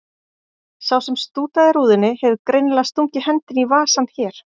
Sá sem stútaði rúðunni hefur greinilega stungið hendinni í vasann hér.